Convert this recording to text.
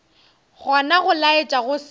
gona go laetša go se